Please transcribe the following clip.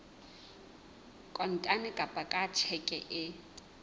kontane kapa ka tjheke e